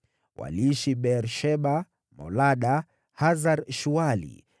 Waliishi Beer-Sheba, Molada, Hasar-Shuali,